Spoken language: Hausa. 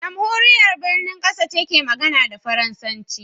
Jamhuriyar Benin kasa ce mai magana da Faransanci